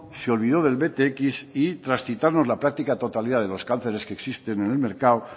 se olvidó del btx y tras citarnos la práctica totalidad de los cánceres que existen en el mercado